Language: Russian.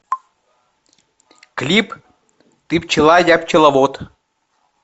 клип ты пчела я пчеловод